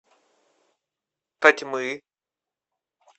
тотьмы